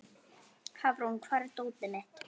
Hafrún, hvar er dótið mitt?